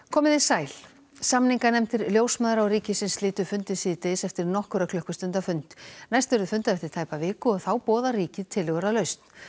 komiði sæl samninganefndir ljósmæðra og ríkisins slitu fundi síðdegis eftir nokkurra klukkstunda fund næst verður fundað eftir tæpa viku og þá boðar ríkið tillögur að lausn